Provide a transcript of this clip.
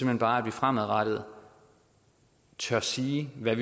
hen bare at man fremadrettet tør sige hvad